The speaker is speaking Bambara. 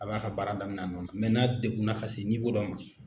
A b'a ka baara damina a nɔ na n'a degunna ka se dɔ ma.